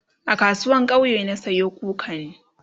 a kasuwan kauye na Sayo kukani